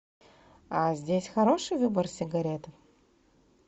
здесь хороший выбор сигарет